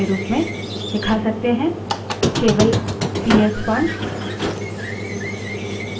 हम कुछ अधिक दिलचस्प कर सकते हैं जैसे हम अपने यूजरनेम को prompt के रूप में दिखा सकते हैं